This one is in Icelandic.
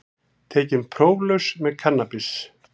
Tekinn próflaus með kannabis